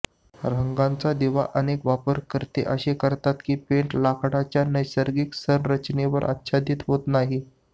रंगाचा दिवा अनेक वापरकर्ते असे करतात की पेंट लाकडाच्या नैसर्गिक संरचनेवर आच्छादित होत नाही